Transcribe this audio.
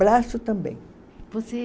Braço também. Você